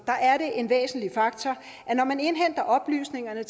er det en væsentlig faktor at når man indhenter oplysninger